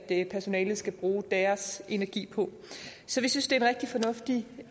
personalet skal bruge deres energi på så vi synes det er en rigtig fornuftig